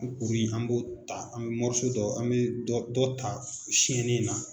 O kuru in an b'o ta an bi dɔ an bi dɔ dɔ ta siyannen in na.